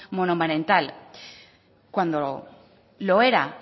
monoparental cuando lo era